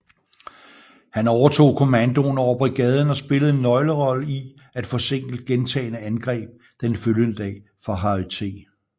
Han overtog kommandoen over brigaden og spillede en nøglerolle i at forsinke gentagne angreb den følgende dag fra Harry T